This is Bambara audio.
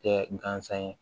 Kɛ gansan ye